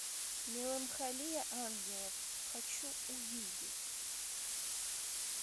меланхолия ангелов хочу увидеть